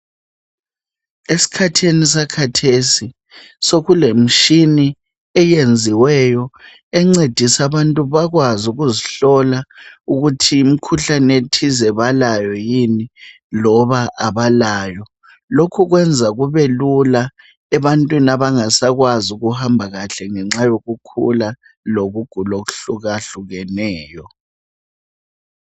Esikhathini sakhathesi, sekulemitshina eyenziweyo encedisa abantu bakwazi ukuzihlola ukuthi imkhuhlane ethize balayo yini loba abalayo. Lokhu kwenza kubelula ebantwini abangasakwazi ukuhamba kahle ngenxa yokukhula lokugula okuhlukahlukeneyo.